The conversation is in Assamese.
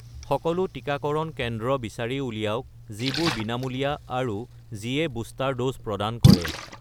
সকলো টিকাকৰণ কেন্দ্ৰ বিচাৰি উলিয়াওক যিবোৰ বিনামূলীয়া আৰু যিয়ে বুষ্টাৰ ড'জ প্ৰদান কৰে